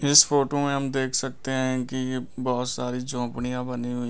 इस फोटो में हम देख सकते हैं कि ये बहुत सारी झोपड़ियां बनी हुई--